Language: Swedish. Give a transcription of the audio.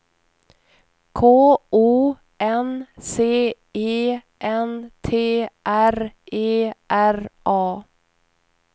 K O N C E N T R E R A